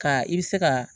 Ka i bɛ se ka